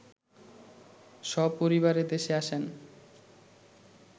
সপরিবারে দেশে আসেন